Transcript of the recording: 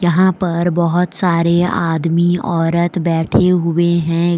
यहां पर बहोत सारे आदमी औरत बैठे हुए हैं।